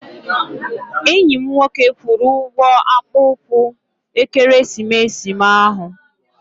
Enyi m nwoke kwụrụ ụgwọ akpụ ụkwụ ekeresimesi m ahụ.